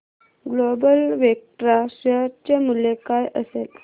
global Vectra share चे मूल्य काय असेल